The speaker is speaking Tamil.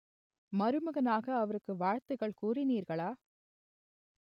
மருமகனாக அவருக்கு வாழ்த்துக்கள் கூறினீர்களா